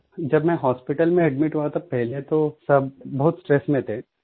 जब मैं हॉस्पिटल में एडमिट हुआ था पहले तोसब बहुत स्ट्रेस में थे